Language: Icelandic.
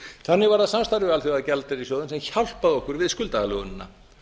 þannig var það samstarfið við alþjóðagjaldeyrissjóðinn sem hjálpaði okkur við skuldaaðlögunina